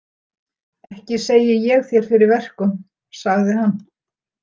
Ekki segi ég þér fyrir verkum, sagði hann.